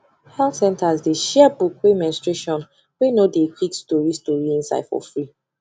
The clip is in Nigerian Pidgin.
health centres dey share book wey menstruation wey no dey quick story story inside for free